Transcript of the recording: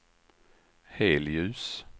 helljus